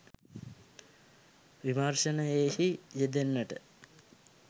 විමර්ශනයෙහි යෙදෙන්නට